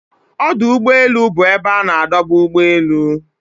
Ọdụ úgbọélụ́ bụ ebe ana adoba ụ́gbọ elụ.